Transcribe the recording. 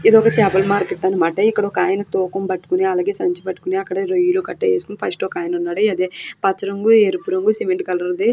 ఇది ఒక చాపల మార్కెట్ అన్నమాట. ఇక్కడ ఒక ఆయన తూకం పట్టుకొని అలాగే సంచి పట్టుకొని అక్కడ రొయ్యలు గటా వేసుకుని ఫస్ట్ ఒకాయన ఉన్నాడు. అదే పచ్చ రంగు ఎరుపు రంగు సిమెంట్ కలర్ ది --